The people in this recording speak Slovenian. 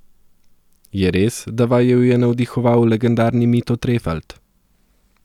Je res, da vaju je navdihoval legendarni Mito Trefalt?